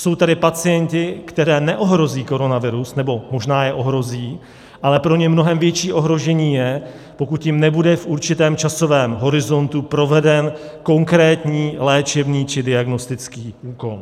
Jsou tady pacienti, které neohrozí koronavirus - nebo možná je ohrozí, ale pro ně mnohem větší ohrožení je, pokud jim nebude v určitém časovém horizontu proveden konkrétní léčebný či diagnostický úkon.